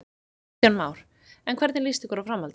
Kristján Már: En hvernig líst ykkur á framhaldið?